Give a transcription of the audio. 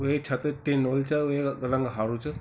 वेक छत टिन वली च वैका रंग हारु च ।